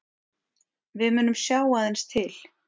Við munum sjá aðeins til